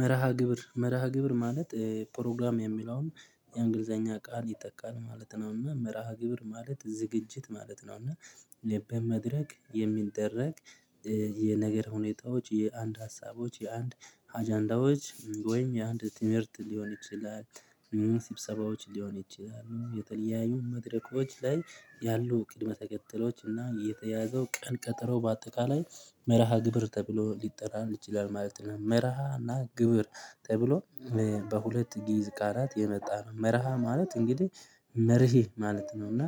መርሃ ግብር መርሃ ግብር ማለት ፕሮግራም የሚለውን የእንግሊዘኛ ቃል ይገልጻ ማለት ነውና መርሃ ግብር ማለት ዝግጅት ማለት ነውና በመድረክ የሚደረግ የነገር ሁኔታዎች የአንድ ሀሳቦች የአንድ አጀንዳዎች ወይም የአንድ ትምህርት ሊሆን ይችላል። ስብሰባዎች ሊሆን ይችላሉ። የተለያዩ መድረኮች ላይ ያሉ ቅድመ ተከተሎች እና የተያዘው ቀን ቀጠሮ በአጠቃላይ መርሃ ግብር ተብሎ ሊጠራም ይችላል ማለት ነው። መርሃ እና ግብር ተብሎ በሁለት ጊዜ ቃላት የመጣ ነው። መርሃ ማለት እንግዲህ መርህ ማለት ነው እና